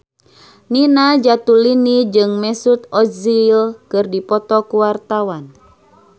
Nina Zatulini jeung Mesut Ozil keur dipoto ku wartawan